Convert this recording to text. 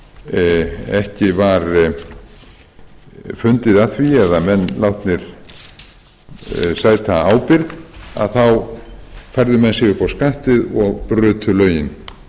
og þegar ekki var fundið að því eða menn látnir sæta ábyrgð þá færðu menn sig upp á skaftið og brutu lögin